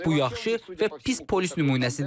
Bu yaxşı və pis polis nümunəsidir.